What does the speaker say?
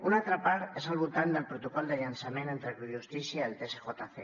una altra part és al voltant del protocol de llançament entre justícia i el tsjc